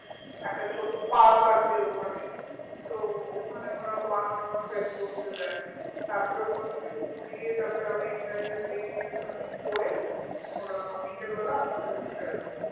একটা ছোট্ট park আছে ওখানে তো ওখানে ওরা one hour spend করতে দেয় তারপরে ওখানে থেকে ঘুরিয়ে তারপর আবার entire day মানে করে ওরা বিকেল বেলা আপনাদেরকে ছেড়ে দেয়